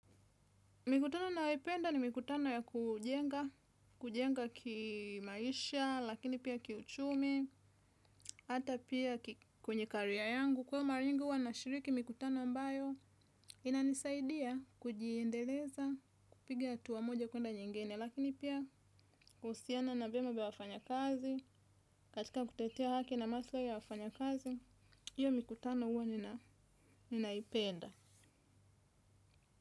Mikutano nayoipenda ni mikutano ya kujenga, kujenga kimaisha, lakini pia kiuchumi, hata pia kwenye carrier yangu, kwa mara nyingi huwa nashiriki mikutano ambayo inanisaidia kujiendeleza, kupiga hatua moja kwenda nyingine, lakini pia kuhusiana na vyema vya wafanyakazi, katika kutetea haki na masilahi ya wafanya kazi, hiyo mikutano huwa ninaipenda.